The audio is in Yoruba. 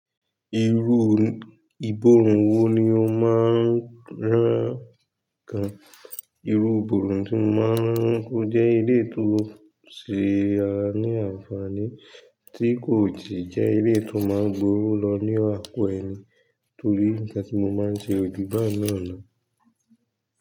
Irú ibòorùn wo ni o máa ń rán ǹkan? Irú ìbòòrù tí mo máa ń rán ọ́ jẹ́ eléyìí tó ṣe a ní àǹfààní tí kò sì jẹ́ eléyìí tó máa gbówó lọ ní àpò ẹni torí isé tí mo máa ń ṣe òjù bá yii na lọ.